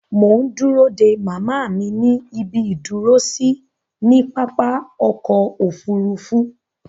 Mò ń dúró dé màmá mi ní ibi ìdúró sí ní pápá-ọkọ òfurufu.